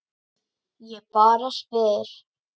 Ég bara spyr